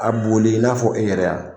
A boli i n'a fɔ e yɛrɛ a